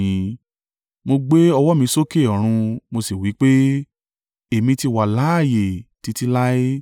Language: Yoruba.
Mo gbé ọwọ́ mi sókè ọ̀run mo sì wí pé, Èmi ti wà láààyè títí láé,